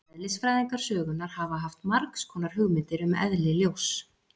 Eðlisfræðingar sögunnar hafa haft margs konar hugmyndir um eðli ljóss.